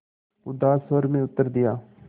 उदास स्वर में उत्तर दिया